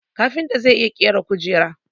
Kafinta zai iya ƙera kujera